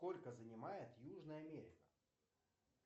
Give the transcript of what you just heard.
сколько занимает южная америка